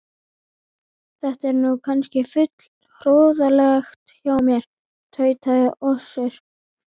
Þetta er nú kannski full hroðalegt hjá mér, tautaði Össur